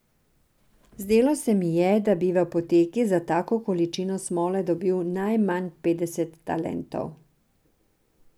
Zdelo se mi je, da bi v apoteki za tako količino smole dobil najmanj petdeset talentov.